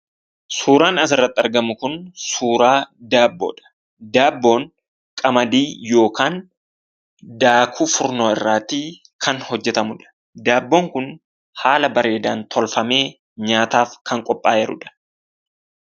Suuraan asirratti argamu kun suuraa daabboodha. daabboon qamadii ykn daakuu furnoo irraati kan hojjetamudha. Daabboon kun haala bareedan tolfame nyaataaf kan qopha'ee jirudha.